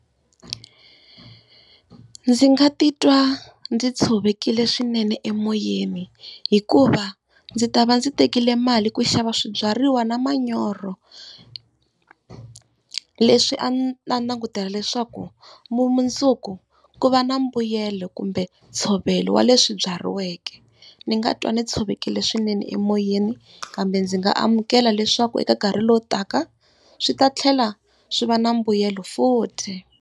Ndzi nga titwa ndzi tshovekile swinene emoyeni, hikuva ndzi ta va ndzi tekile mali ku xava swibyariwa na manyoro leswi a ndzi ta langutela leswaku mundzuku ku va na mbuyelo kumbe ntshovelo wa leswi byariweke. Ni nga twa ni tshovekile swinene emoyeni, kambe ndzi nga amukela leswaku eka nkarhi lowu taka swi ta tlhela swi va na mbuyelo futhi.